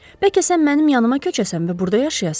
Bəlkə sən mənim yanıma köçəsən və burda yaşayasan?